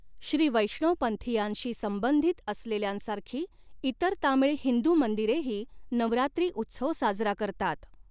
श्रीवैष्णवपंथीयांशी संबंधित असलेल्यांसारखी इतर तामीळ हिंदू मंदिरेही नवरात्री उत्सव साजरा करतात.